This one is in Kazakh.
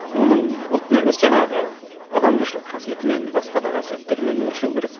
оның ұлтын емес жаңағы адамгершілік қасиетімен басқа да қасиеттерімен өлшеу керек